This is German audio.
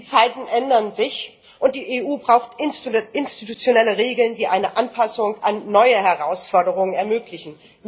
Die Zeiten ändern sich, und die EU braucht institutionelle Regeln, die eine Anpassung an neue Herausforderungen ermöglichen.